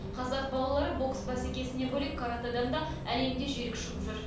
қазақ балалары бокс бәсекесінен бөлек каратэдан да әлемде жүйрік шығып жүр